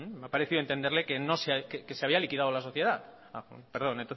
me ha parecido entenderle que se había liquidado la sociedad perdón